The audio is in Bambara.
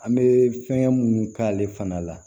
An bɛ fɛngɛ munnu k'ale fana la